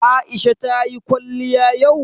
Aisha ta yi kwaliya yau?